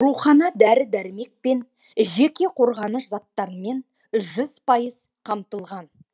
аурухана дәрі дәрмек пен жеке қорғаныш заттарымен жүз пайыз қамтылған